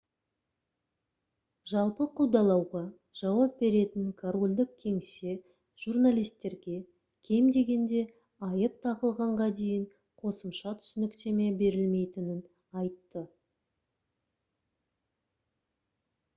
жалпы қудалауға жауап беретін корольдік кеңсе журналистерге кем дегенде айып тағылғанға дейін қосымша түсініктеме берілмейтінін айтты